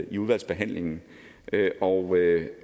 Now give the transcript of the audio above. i udvalgsbehandlingen og